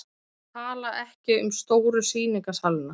Tala ekki um stóru sýningarsalina.